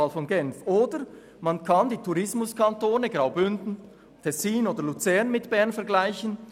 Oder man kann die Tourismuskantone Graubünden, Tessin oder Luzern mit Bern vergleichen.